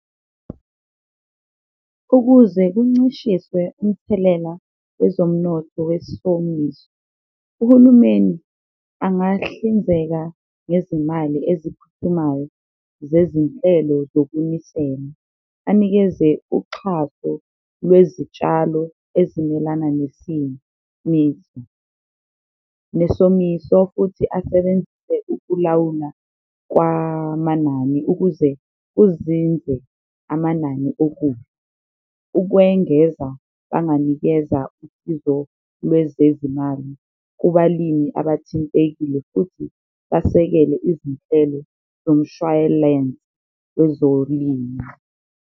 Ukuze kuncishiswe umthelela wezomnotho wesomiso, uhulumeni angahlinzeka ngezimali eziphuthumayo zezinhlelo zokunisela, anikeze uxhaso lwezitshalo ezimelana nesimo nesomiso futhi asebenzise ukulawula kwamanani ukuze kuzinze amanani . Ukwengeza banganikeza usizo lwezezimali kubalimi abathintekile futhi basekele izinhlelo zomshwayilense wezolimo.